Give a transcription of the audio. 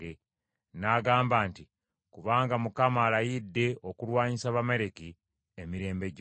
N’agamba nti, “Kubanga Abamaleki baalwanyisa entebe ya Mukama ey’obwakabaka, Mukama alayidde okubalwanyisa emirembe gyonna.”